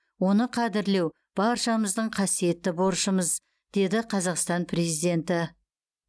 оны қадірлеу баршамыздың қасиетті борышымыз деді қазақстан президенті